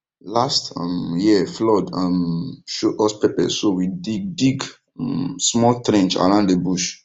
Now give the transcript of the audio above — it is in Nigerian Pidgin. last um year flood um show us pepper so we dig dig um small trench around the bush